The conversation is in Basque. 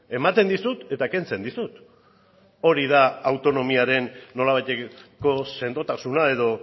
ematen dizut eta kentzen dizut hori da autonomiaren nolabaiteko sendotasuna edo